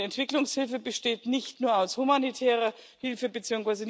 nicht. Und Entwicklungshilfe besteht nicht nur aus humanitärer Hilfe